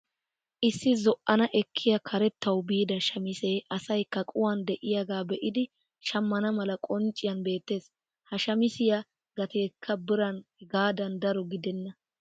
Issi zo'anani ekkiyaa karettawu biida shamisee asay kaquwaan de'iyaagaa be'idi shammana mala qoncciyaan beettees. ha shamisiyaa gateekka biran hegaadan daro gidenna.